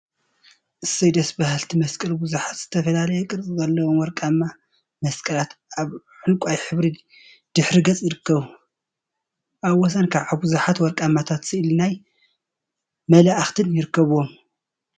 አሰይ ደስ በሃልቲ መስቀል! ቡዙሓት ዝተፈላለየ ቅርፂ ዘለዎም ወርቃማ መስቀላት አብ ዕንቋይ ሕብሪ ድሕረ ገፅ ይርከቡ፡፡ አብ ወሰን ከዓ ብዙሓት ወርቃማታትን ስእሊ ናይ መላእክትን ይርከቡዎም፡፡